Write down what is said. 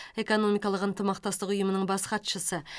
экономикалық ынтымақтастық ұйымының бас хатшысы